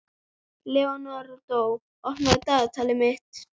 Leonardó, opnaðu dagatalið mitt.